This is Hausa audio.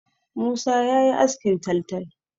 Musa ya yi askin taltal.